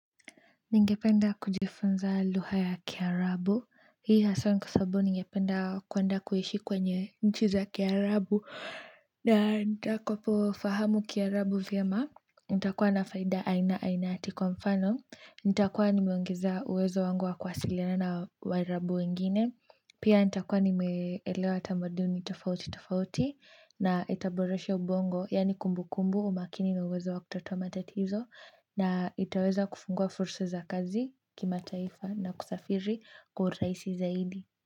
Ningependa kujifunza lugha ya kiarabu. Hii haswaa ni kwa sababu ningependa kuenda kuishi kwenye nchi za kiarabu na nitakapo fahamu kiarabu vyema. Nitakuwa na faida aina aina ati kwa mfano. Nitakuwa nimeongeza uwezo wangu wa kuwasiliana na waarabu wengine. Pia nitakuwa nimeelewa tamaduni tofauti tofauti na itaboresha ubongo yaani kumbukumbu umakini na uwezo wa kutatua matatizo na itaweza kufungua fursa za kazi kimataifa na kusafiri kwa uraisi zaidi.